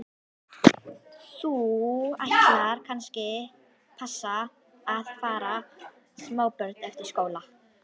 Ætlar þú kannski að fara að passa smábörn eftir skóla?